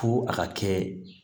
Fo a ka kɛ